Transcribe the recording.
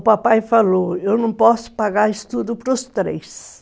O papai falou, eu não posso pagar estudo para os três.